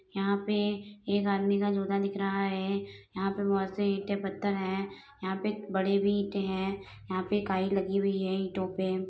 यहाँ पे एक आदमी का जूता दिख रहा है यहाँ पे बहोत से ईंटें पत्थर है यहाँ पे एक बड़ी भी ईंटे हैं यहाँं पे काई लगी हुई है ईंटों पे।